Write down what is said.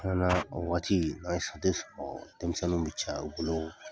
An nana o waati, an ye sɔrɔ, denmisɛnnin bɛ caya o bolo